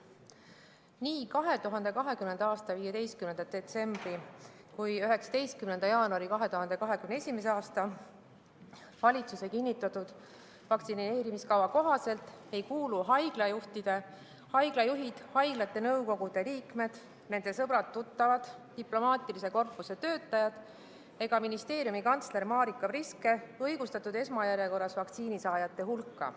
Nii 2020. aasta 15. detsembril kui ka 2021. aasta 19. jaanuaril valitsuse kinnitatud vaktsineerimiskava kohaselt ei kuulu haiglajuhid, haiglate nõukogude liikmed, nende sõbrad-tuttavad, diplomaatilise korpuse töötajad ega ministeeriumi kantsler Marika Priske esmajärjekorras vaktsiinisaajate hulka.